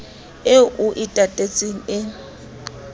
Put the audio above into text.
eo o e tatetseng e